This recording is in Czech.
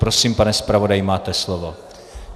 Prosím, pane zpravodaji, máte slovo.